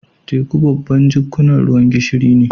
Teku babban jikkunan ruwan gishiri ne.